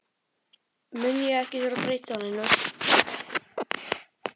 mun ég ekki þurfa að breyta neinu.